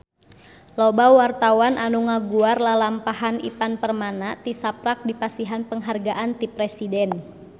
Loba wartawan anu ngaguar lalampahan Ivan Permana tisaprak dipasihan panghargaan ti Presiden